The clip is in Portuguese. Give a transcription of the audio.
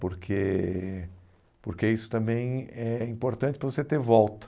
Porque porque isso também é importante para você ter volta.